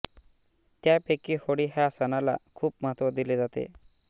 त्यापैकी होळी ह्या सणाला खूप महत्त्व दिले जाते